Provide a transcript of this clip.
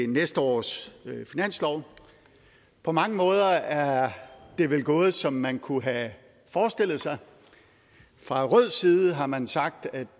næste års finanslov på mange måder er det vel gået som man kunne have forestillet sig fra rød side har man sagt at